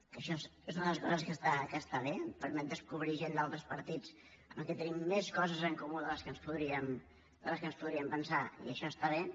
que això és una de les coses que està bé et permet descobrir gent d’altres partits amb qui tenim més coses en comú de les que ens podríem pensar i això està bé